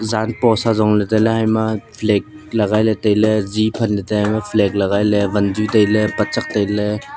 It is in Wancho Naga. jan past ajong le tailey hama flag legai le tailey zi phanle tai a hama flag legai le wanzi tailey panchak tailey.